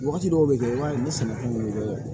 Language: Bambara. Wagati dɔw bɛ kɛ i b'a ye ne sɛnɛkɛ